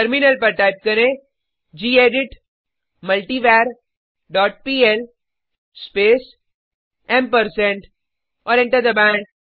terminal पर type करें gedit multiver dot PL space ampersand और एंटर दबाएँ